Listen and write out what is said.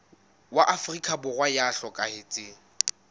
wa afrika borwa ya hlokahetseng